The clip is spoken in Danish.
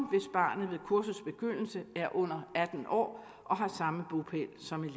barnet ved kursets begyndelse er under atten år og har samme bopæl som